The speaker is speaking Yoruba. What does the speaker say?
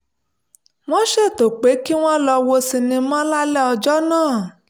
wọ́n ṣètò pé kí wọ́n lọ wo sinimá lálẹ́ ọjọ́ náà